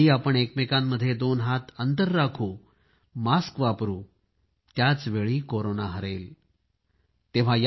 ज्यावेळी आपण एकमेकांमध्ये दोन गज अंतर राखणार आहे मास्क वापरणार आहे त्याचवेळी कोरोना हरणार आहे